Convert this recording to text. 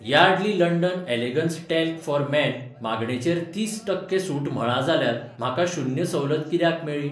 Yardley London elegance talc for men मागणेचेर तीस टक्के सूट म्हळां जाल्यार म्हाका शून्य सवलत कित्याक मेळळी ?